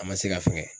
A ma se ka fɛngɛ